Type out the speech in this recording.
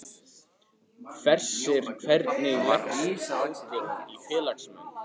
Hersir, hvernig leggst aldurinn í félagsmenn?